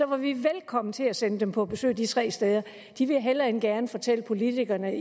var vi velkomne til at sende dem på besøg de tre steder de ville hellere end gerne fortælle politikerne